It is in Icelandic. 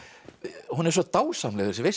hún er svo dásamleg þessi veisla